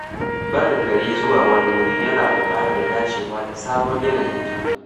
Barin gari zuwa wani wuri yana buƙatar dacewa da sabon yanayin can.